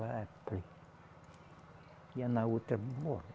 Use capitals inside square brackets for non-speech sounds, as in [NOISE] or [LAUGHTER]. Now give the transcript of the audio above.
[UNINTELLIGIBLE] E ia na outra, bora.